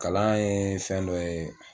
Kalan ye fɛn dɔ ye